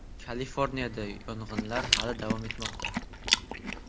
Kaliforniyada yong‘inlar hamon davom etmoqda.